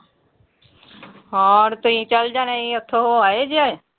ਹੋਰ ਤੁਸੀਂ ਚਲ ਜਾਣਾ ਸੀ ਉਥੋਂ ਹੋ ਆਏ ਜੇ?